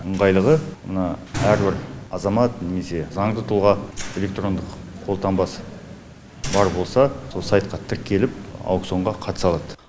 ыңғайлылығы мына әрбір азамат немесе заңды тұлға электрондық қолтаңбасы бар болса сол сайтқа тіркеліп аукционға қатыса алады